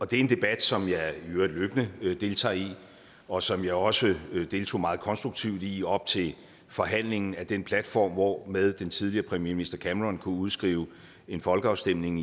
det er en debat som jeg i øvrigt løbende deltager i og som jeg også deltog meget konstruktivt i op til forhandlingen af den platform hvormed den tidligere premierminister cameron kunne udskrive en folkeafstemning